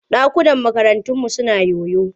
Ɗakunan karataunmu suna yoyo.